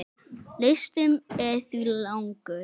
Listinn er því langur.